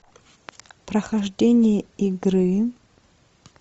прохождение игры